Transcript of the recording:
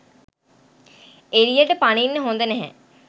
එළියට පනින්න හොඳ නැහැ.